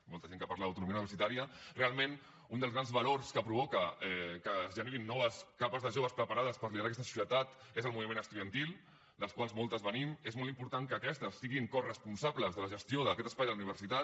molta gent que parla d’autonomia universitària realment un dels grans valors que provoca que es generin noves capes de joves preparades per liderar aquesta societat és el moviment estudiantil del qual moltes venim és molt important que aquestes siguin coresponsables de la gestió d’aquest espai de la universitat